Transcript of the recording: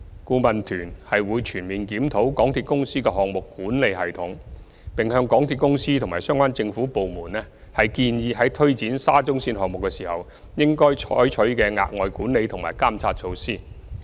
顧問團會全面檢討港鐵公司的項目管理系統，並向港鐵公司和相關政府部門建議在推展沙中線項目時，應採取的額外管理和監察措施。